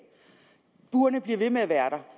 burene bliver ved med at være